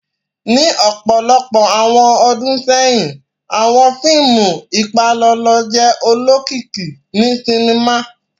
Ni ọpọlọpọ awọn ọ́dùn sẹyin, awọn fiimu ipalọlọ jẹ olokiki ni sinima.